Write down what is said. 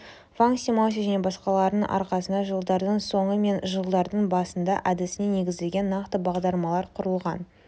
ванг симаути және басқаларының арқасында жылдардың соңы мен жылдардың басында әдісіне негізделген нақты бағдарламалар құрылған